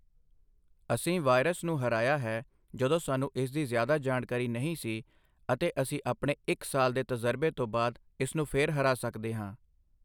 ਅਸੀਂ ਵਾਇਰਸ ਨੂੰ ਹਰਾਇਆ ਹੈ, ਜਦੋਂ ਸਾਨੂੰ ਇਸ ਦੀ ਜ਼ਿਆਦਾ ਜਾਣਕਾਰੀ ਨਹੀਂ ਸੀ ਅਤੇ ਅਸੀਂ ਆਪਣੇ ਇੱਕ ਸਾਲ ਦੇ ਤਜ਼ਰਬੇ ਤੋਂ ਬਾਅਦ ਇਸ ਨੂੰ ਫਿਰ ਹਰਾ ਸਕਦੇ ਹਾਂ।